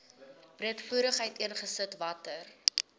breedvoerig uiteengesit watter